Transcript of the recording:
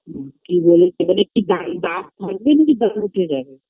কি বলে সেখানে কি থা থাকবি নাকি তাড়াতাড়ি চলে যাবি